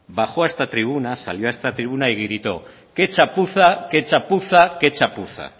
bajo a esta tribuna salió a esta tribuna y grito qué chapuza qué chapuza qué chapuza